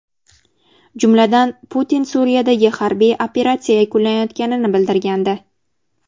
Jumladan, Putin Suriyadagi harbiy operatsiya yakunlanayotganini bildirgandi.